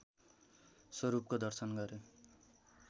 स्वरूपको दर्शन गरे